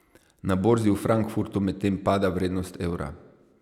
Na borzi v Frankfurtu medtem pada vrednost evra.